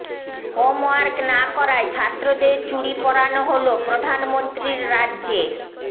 homework না করায় ছাত্রদের চুড়ি পরানো হল প্রধানমন্ত্রীর রাজ্যে